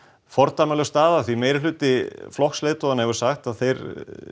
fordæmalaus staða því meirihluti flokksleiðtoganna hefur sagt að þeir